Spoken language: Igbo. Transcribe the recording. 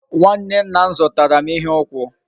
Nwanne nna m zutaram ihe ukwu